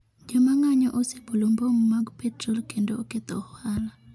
Joma ng’anjo osebolo bom mag petrol kendo oketho ohala.